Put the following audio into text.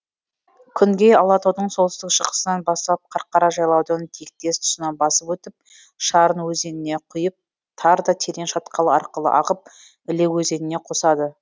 күнгей алатаудың солтүстік шығысынан басталып қарқара жайлаудың тиектес тұсынан басып өтіп шарын өзеніне құйып тар да терең шатқал арқылы ағып іле өзеніне қосады